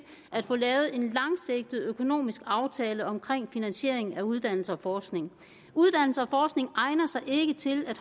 at få lavet en langsigtet økonomisk aftale om finansiering af uddannelse og forskning egner sig ikke til at